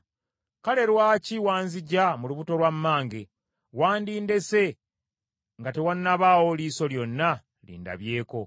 “Kale lwaki wanziggya mu lubuto lwa mmange? Wandindese nga tewannabaawo liiso lyonna lindabyeko.